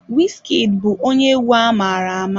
Wizkid bụ onye egwu amara ama.